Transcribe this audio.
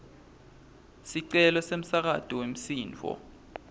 sicelo semsakato wemsindvo